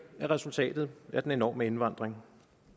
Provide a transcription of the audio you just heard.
er resultatet af den enorme indvandring